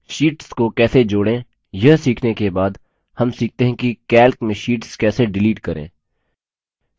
sheets को कैसे जोड़ें यह सीखने के बाद हम सीखते है कि calc में शीट्स कैसे डिलीट करें